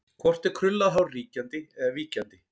Hvort er krullað hár ríkjandi eða víkjandi?